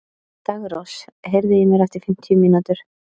Daggrós, heyrðu í mér eftir fimmtíu mínútur.